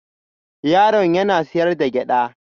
Yaron yana sayar da gyada